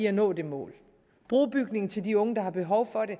at nå det mål brobygning til de unge der har behov for det